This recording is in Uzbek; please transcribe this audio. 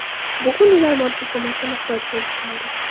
Bugan ular moddiy ko‘makka muhtoj bo‘lib qoldi.